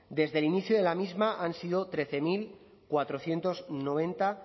desde inicio de la misma han sido trece mil cuatrocientos noventa